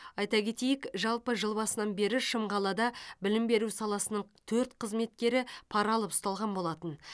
айта кетейік жалпы жыл басынан бері шымқалада білім беру саласының төрт қызметкері пара алып ұсталған болатын